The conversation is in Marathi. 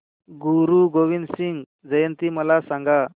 गुरु गोविंद सिंग जयंती मला सांगा